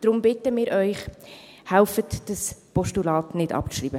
Deshalb bitten wir Sie: Helfen Sie, dieses Postulat nicht abzuschreiben.